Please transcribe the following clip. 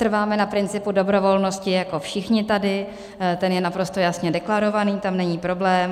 Trváme na principu dobrovolnosti jako všichni tady, ten je naprosto jasně deklarovaný, tam není problém.